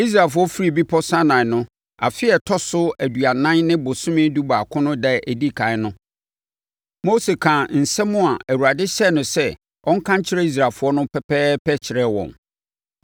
Israelfoɔ firii Bepɔ Sinai no, afe a ɛtɔ so aduanan no bosome dubaako no ɛda a ɛdi ɛkan no, Mose kaa nsɛm a Awurade hyɛɛ no sɛ ɔnka nkyerɛ Israelfoɔ no pɛpɛɛpɛ kyerɛɛ wɔn.